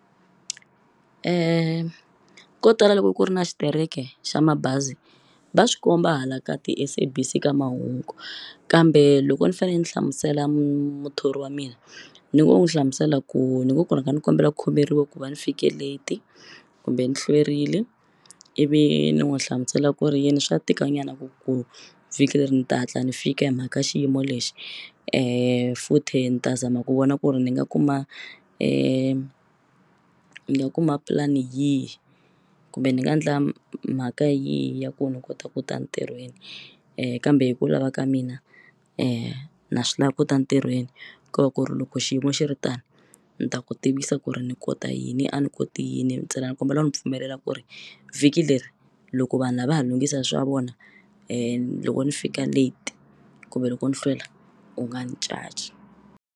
Ko tala loko ku ri na xitereke xa mabazi va swikomba hala ka ti-SABC ka mahungu kambe loko ni fane ni hlamusela muthori wa mina ni ngo n'wu hlamusela ku ni ngo ku rhanga ni kombela ku khomeriwa ku va ni fike late kumbe ni hlwerile ivi ni n'wu hlamusela ku ri yini swa tika nyana ku vhiki leri ni ta hatla ni fika himhaka xiyimo lexi futhi ni ta zama ku vona ku ri ni nga kuma ni nga kuma pulani yihi kumbe ni nga endla mhaka yihi ya ku ni kota ku ta entirhweni kambe hi ku lava ka mina na swi lavi ku ta ntirhweni ko va ku ri loko xiyimo xi ri tani ni ta ku tivisa ku ri ni kota yini a ni koti yini ntsena ni kombela u ni pfumelela ku ri vhiki leri loko vanhu lava va ha lunghisa swa vona loko ni fika late kumbe loko ni hlwela u nga ni caci.